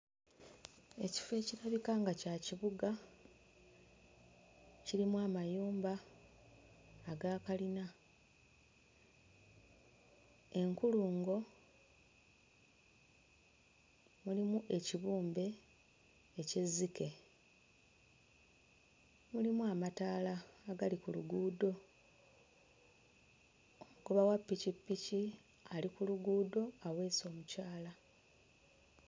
Ekifo ekirabika nga kya kibuga kirimu amayumba agakalina; enkulungo mulimu ekibumbe eky'ezzike; mulimu amataala agali ku luguudo. Omugoba wa ppikippiki ali ku luguudo aweese omukyala.